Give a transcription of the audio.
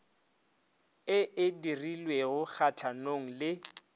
e e dirilweng kgatlhanong le